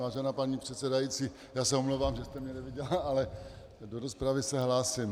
Vážená paní předsedající, já se omlouvám, že jste mě neviděla, ale do rozpravy se hlásím.